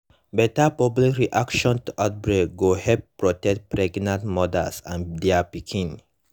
better public reaction to outbreak go help protect pregnant mothers and their pikin